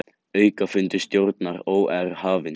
Aukafundur stjórnar OR hafinn